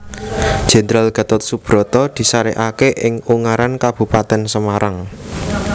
Jenderal Gatot Soebroto disarekake ing Ungaran Kabupatèn Semarang